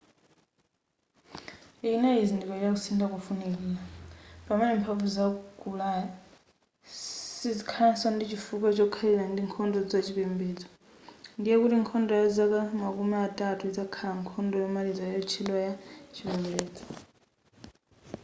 ichi chinali chizindikiro cha kusintha kofunikira pamene mphamvu za ku ulaya sizikhalanso ndi chifukwa chokhalira ndi nkhondo za chipembedzo ndiye kuti nkhondo ya zaka makumi atatu izakhala nkhondo yomaliza kutchedwa ya chipembedzo